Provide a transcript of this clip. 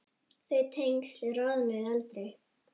Þau tengsl rofnuðu aldrei.